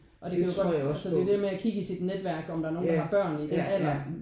Og det er jo altså det er jo det med at kigge i sit netværk om der er nogen der har børn i den alder